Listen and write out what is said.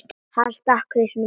Hann stakk hausnum út aftur.